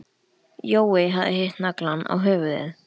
Jói hafði hitt naglann á höfuðið.